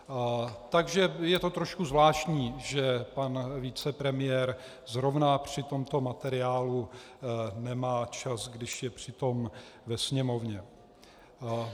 Takže je to trošku zvláštní, že pan vicepremiér zrovna při tomto materiálu nemá čas, když je přitom ve Sněmovně.